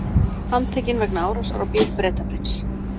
Handtekinn vegna árásar á bíl Bretaprins